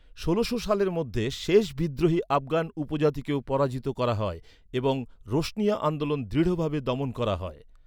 ষোলোশো সালের মধ্যে শেষ বিদ্রোহী আফগান উপজাতিকেও পরাজিত করা হয় এবং রোশানিয়া আন্দোলন দৃঢ়ভাবে দমন করা হয়।